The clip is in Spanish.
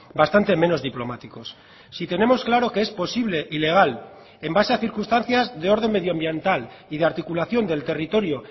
bastante menos diplomáticos si tenemos claro que es posible y legal en base a circunstancias de orden medio ambiental y de articulación del territorio